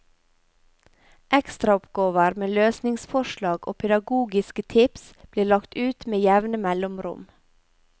Ekstra oppgaver med løsningsforslag og pedagogiske tips blir lagt ut med jevne mellomrom.